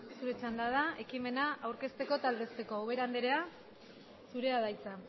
zure txanda da ekimena aurkezteko eta aldezteko ubera anderea zurea da hitza